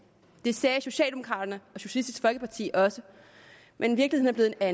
det sagde socialdemokraterne og socialistisk folkeparti også men virkeligheden er